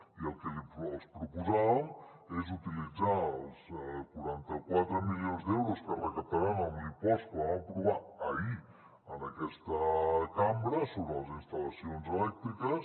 i el que els proposàvem és utilitzar els quaranta quatre milions d’euros que recaptaran amb l’impost que vam aprovar ahir en aquesta cambra sobre les instal·lacions elèctriques